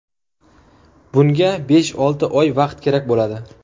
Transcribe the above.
Bunga besh-olti oy vaqt kerak bo‘ladi.